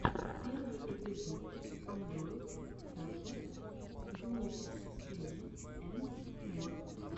первый эпизод андройдхэлпер юнитиссриди энд мор